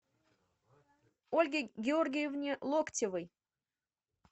ольге георгиевне локтевой